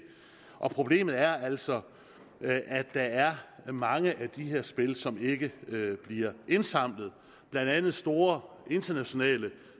og problemet er altså at der er mange af de her spil som ikke bliver indsamlet blandt andet store internationale